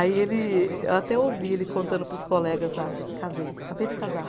Aí ele, eu até ouvi ele contando para os colegas lá, casei, acabei de casar.